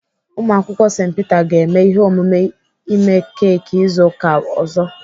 Ụmụakwụkwọ St Peter ga-eme ihe omume ime keki izu ụka ọzọ.